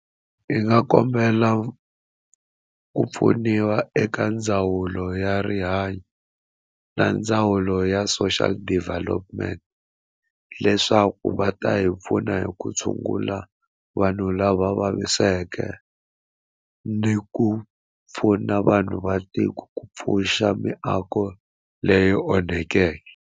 Hi nga kombela ku pfuniwa eka ndzawulo ya rihanyo na ndzawulo ya social development leswaku va ta hi pfuna hi ku tshungula vanhu lava vaviseke ni ku pfuna vanhu va tiko ku pfuxa miako leyi onhekeke.